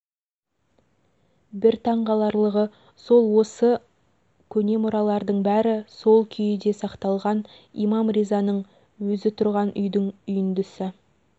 бір таңқаларлығы сол осы көне мұралардың бәрі сол күйіде сақталған имам ризаның өзі тұрған үйдің үйіндісі